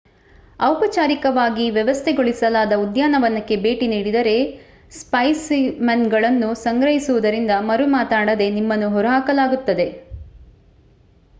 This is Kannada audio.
ಔಪಚಾರಿಕವಾಗಿ ವ್ಯವಸ್ಥೆಗೊಳಿಸಲಾದ ಉದ್ಯಾನವನಕ್ಕೆ ಭೇಟಿ ನೀಡಿದರೆ ಸ್ಪೈಸಿಮೆನ್‌ಗಳನ್ನು ಸಂಗ್ರಹಿಸುವುದರಿಂದ ಮರುಮಾತನಾಡದೇ ನಿಮ್ಮನ್ನು ಹೊರಹಾಕಲಾಗುತ್ತದೆ